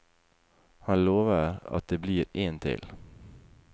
Han lover at det blir en til.